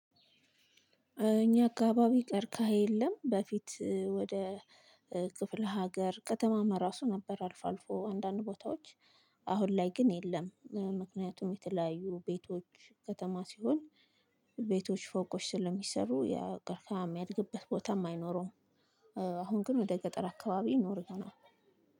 እኛ አካባቢ ቀርካሐ የለም በፊት ወደ ክፍለ ሀገር ከተማም ራሱ ነበር አልፎ አልፎ አንዳንድ ቦታዎች። አሁን ላይ ግን የለም። ምክንያቱም የተለያዩ ቤቶች ከተማ ሲሆን ቤቶች ፎቆች ስለሚሰሩ ያ ቀርካሐም ያለበት ቦታም አይኖሩም። አሁን ግን ወደ ገጠር አካባቢ ይኖራል።